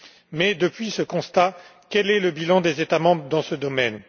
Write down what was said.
Mais depuis ce constat, quel est le bilan des États membres dans ce domaine?